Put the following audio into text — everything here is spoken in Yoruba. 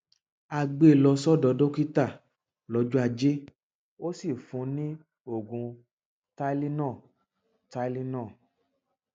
a gbé e lọ sọdọ dókítà lọjọ ajé ó sì fún un ní oògùn tylenol tylenol